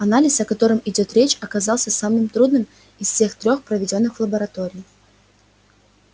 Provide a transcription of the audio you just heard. анализ о котором идёт речь оказался самым трудным из всех трёх проведённых в лаборатории